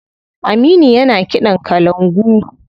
Aminu yana kiɗan kalangu.